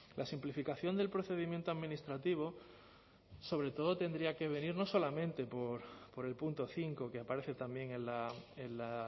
la simplificación del procedimiento administrativo sobre todo tendría que venir no solamente por el punto cinco que aparece también en la